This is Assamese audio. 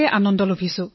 প্ৰধানমন্ত্ৰীঃ ধন্যবাদ